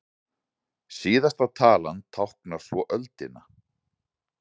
Síðasta talan táknar svo öldina.